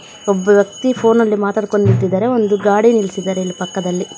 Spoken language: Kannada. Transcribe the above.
ಒಬ್ಬ ವ್ಯಕ್ತಿ ಫೋನ ಲ್ಲಿ ಮಾತಾಡ್ಕೊಂಡ್ ನಿಂತಿದ್ದಾರೆ ಒಂದು ಗಾಡಿ ನಿಲ್ಸಿದ್ದಾರೆ ಇಲ್ಲಿ ಪಕ್ಕದಲ್ಲಿ.